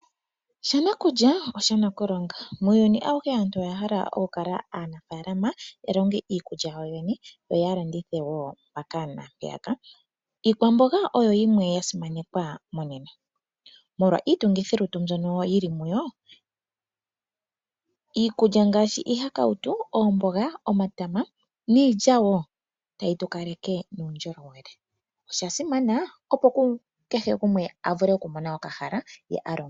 Sha nakulya osha nakulonga. Muuyuni auhe aantu oya hala okukala aanafaalama ya longe iikulya yawo yoyene yo ya landithe wo mpaka naampeyaka. Iikwamboga oyo yimwe ya simanekwa monena, molwa iitungithilutu mbyoka yi li muyo, iikulya ngaashi iihakautu, oomboga, omatama niilya wo otayi tu kaleke muundjolowele. Osha simana, opo kehe gumwe a vule okumona okahala ye a longe.